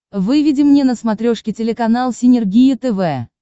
выведи мне на смотрешке телеканал синергия тв